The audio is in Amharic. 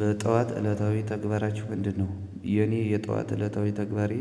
በጠዋት እለታዊ ተግባራችሁ ምንድነው? የኔ የጠዋት እለታዊ ተግባሬ